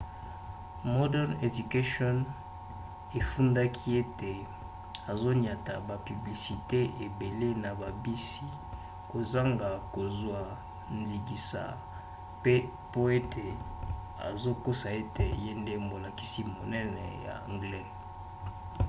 modern education efundaki ete azoniata bapiblisite ebele na babisi kozanga kozwa ndingisa pe ete azokosa ete ye nde molakisi monene ya anglais